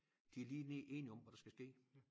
De lige enige om hvad der skal ske